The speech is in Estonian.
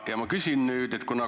Ja ma küsin nüüd sellist asja.